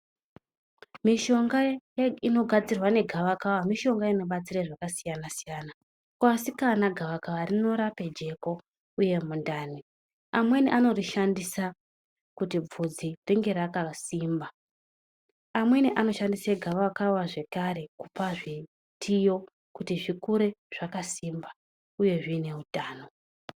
Mishonga inogadzirwa negavakava mishonga inobatsira zvakasiyana -siyana. Kuasikana gavakava rinorape jeko uye mundani amweni anorishandisa kuti bvudzi ringe rakasimba, anemwi anoshandisa gavakava zvekare kupe zvitiyo kutizvikure zvakasimba uye zvine utano.